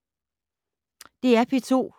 DR P2